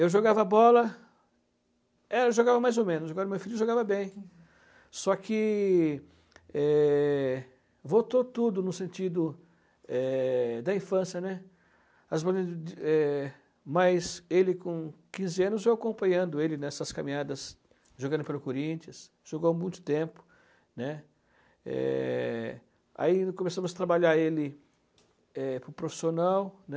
eu jogava bola eu jogava mais ou menos agora meu filho jogava bem só que é voltou tudo no sentido é, da infância né mas ele com quinze anos eu acompanhando ele nessas caminhadas jogando pelo Corinthians jogou muito tempo né aí começamos a trabalhar ele é para o profissional né